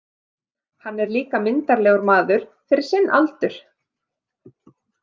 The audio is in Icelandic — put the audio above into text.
Hann er líka myndarlegur maður fyrir sinn aldur.